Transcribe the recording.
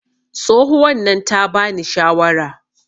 tsohuwan nan ta bani shawara